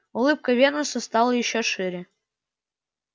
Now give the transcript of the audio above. улыбка венуса стала ещё шире